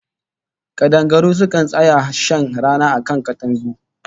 Kadangaru sukan tsaya shan rana a kan katangu